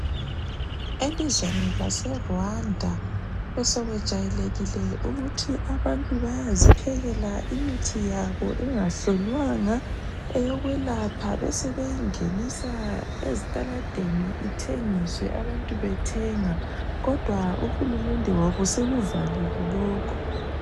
Elizweni laseRwanda besekwejwayelekile ukuthi abantu bayaziphekela imithi yabo engahlolwanga eyokwelapha besebeyingenisa ezitaladeni ithengiswe abantu bethenga kodwa uhulumede wabo sekuvalele lokho.